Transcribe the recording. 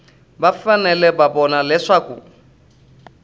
va fanele ku vona leswaku